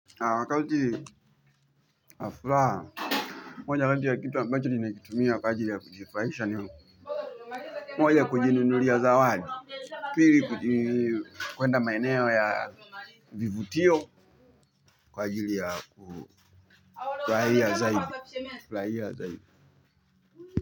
Akauti afraa. Moja kati ya kitu ambacho limejitumia kwa ajili ya kujifraisha niyo. Moja kujininunulia zawadi pili kuenda maeneo ya Vivutio. Kwa ajili ya kufurahia zaidi.